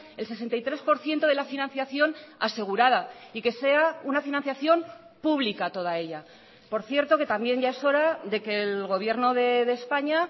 el sesenta y tres por ciento de la financiación asegurada y que sea una financiación pública toda ella por cierto que también ya es hora de que el gobierno de españa